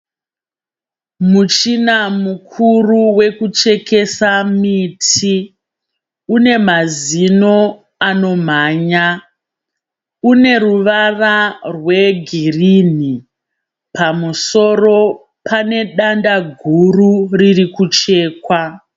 Muchina mukuru wekuchekesa miti une mazino anomhanya une ruvara rwegirini pamusoro pane danda guru riri kuchekwa.